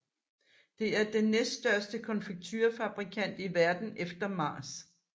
Det er den næststørste konfekturefabrikant i verden efter Mars